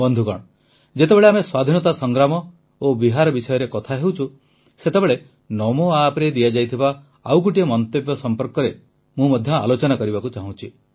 ବନ୍ଧୁଗଣ ଯେତେବେଳେ ଆମେ ସ୍ୱାଧୀନତା ସଂଗ୍ରାମ ଓ ବିହାର ବିଷୟରେ କଥା ହେଉଛୁ ସେତେବେଳେ ନମୋ ଆପ୍ରେ ଦିଆଯାଇଥିବା ଆଉ ଗୋଟିଏ ମନ୍ତବ୍ୟ ସମ୍ପର୍କରେ ମଧ୍ୟ ମୁଁ ଆଲୋଚନା କରିବାକୁ ଚାହୁଁଛି